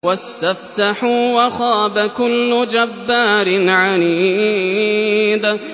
وَاسْتَفْتَحُوا وَخَابَ كُلُّ جَبَّارٍ عَنِيدٍ